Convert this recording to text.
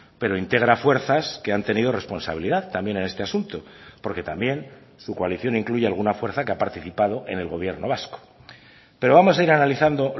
pero integra fuerzas que han tenido responsabilidad también en este asunto porque también su coalición incluye alguna fuerza que ha participado en el gobierno vasco pero vamos a ir analizando